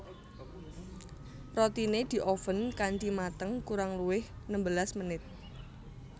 Rotine dioven kanthi mateng kurang luwih nembelas menit